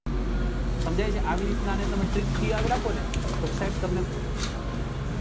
સમજાય છે આવી રીત નાં અને તમે trick થી યાદ રાખો ને તો સાહેબ તમને